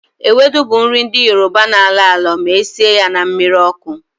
Ewedu bụ nri ndị obodo Yoroba na-alọ alọ ma esie ya na mmiri ọkụ